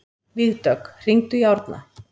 Vígdögg, hringdu í Árna.